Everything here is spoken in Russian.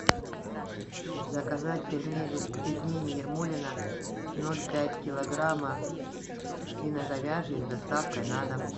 заказать пельмени ермолино ноль пять килограмма свино говяжьи с доставкой на дом